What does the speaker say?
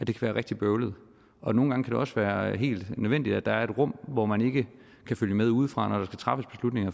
være rigtig bøvlet og nogle gange kan det også være helt nødvendigt at der er et rum hvor man ikke kan følge med udefra